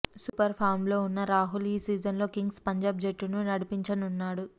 super ఫామ్లో ఉన్న రాహుల్ ఈ సీజన్లో కింగ్స్ పంజాబ్ జట్టును నడిపించనున్నాడు